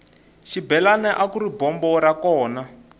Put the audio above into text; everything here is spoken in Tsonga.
xibelani akuri bombo ra kona